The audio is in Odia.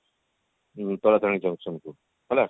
ଉଁ ତାରାତାରିଣୀ junction କୁ ହେଲା